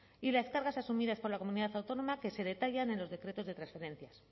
y las cargas asumidas por la comunidad autónoma que se detallan en los decretos de transferencia